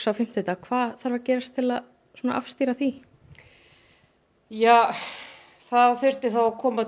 á fimmtudag hvað þarf að gerast til að afstýra því ja það þyrfti að koma